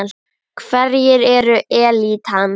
Hverjir eru elítan?